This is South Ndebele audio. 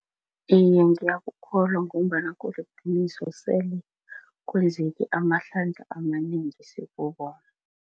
Iye, ngiyakukholwa ngombana kuliqiniso, sele kwenzeke amahlandla amanengi sikubona.